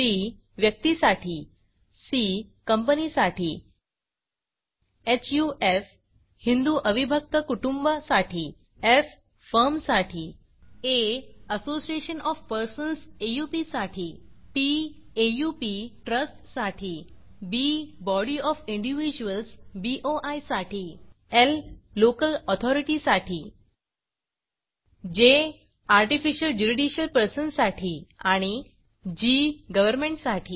P व्यक्तीसाठी C कंपनीसाठी HUF हिंदू अविभक्त कुटुंब साठी एफ फर्मसाठी आ असोसिएशन ओएफ पर्सन्स साठी टीटी एओपी साठी बी बॉडी ओएफ इंडिव्हिज्युअल्स साठी ल लोकल ऑथॉरिटी साठी जे आर्टिफिशियल ज्युरिडिकल पर्सन साठी आणि जी गव्हर्नमेंट साठी